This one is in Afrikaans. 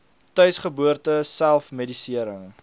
tuisgeboorte self medisering